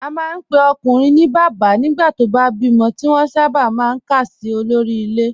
A máa ń pe ọkùnrin ní bàbá nígbà tó bá bímọ, tí wọ́n sábà máa ń kà sí olórí ilé